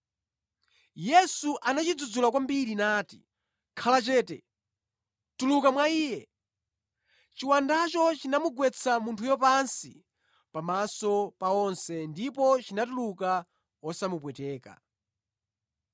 Yesu anachidzudzula kwambiri nati, “Khala chete! Tuluka mwa iye.” Chiwandacho chinamugwetsa munthuyo pansi pamaso pa onse ndipo chinatuluka wosamupweteka.